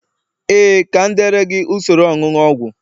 ee, ka m deere gị usoro onunu ogwu